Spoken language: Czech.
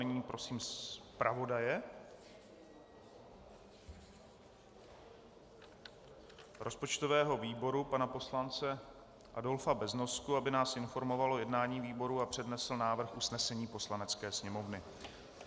Nyní prosím zpravodaje rozpočtového výboru pana poslance Adolfa Beznosku, aby nás informoval o jednání výboru a přednesl návrh usnesení Poslanecké sněmovny.